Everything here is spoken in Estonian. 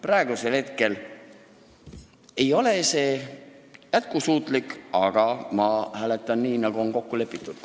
Praegusel hetkel ei ole see lahendus jätkusuutlik, aga ma hääletan nii, nagu on kokku lepitud.